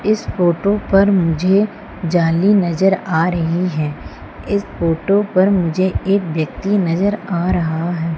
इस फोटो पर मुझे जाली नजर आ रही है इस फोटो पर मुझे एक व्यक्ति नजर आ रहा है।